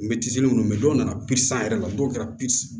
munnu mɛ dɔw nana yɛrɛ la dɔw kɛra